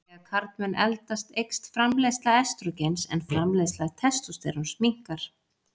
Þegar karlmenn eldast eykst framleiðsla estrógens en framleiðsla testósteróns minnkar.